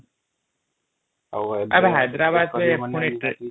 ଏବେ ହାୟଦରାବାଦ ଯିବା ପୁଣି ଟ୍ରେନ ରେ |